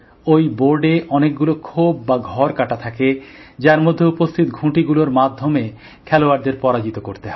ওই বোর্ডে অনেকগুলো খোপ বা ঘর কাটা থাকে যার মধ্যে উপস্থিত ঘুঁটি গুলোর মাধ্যমে খেলোয়াড়দের পরাজিত করতে হয়